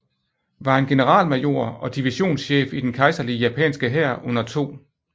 var en generalmajor og divisionschef i den kejserlige japanske hær under 2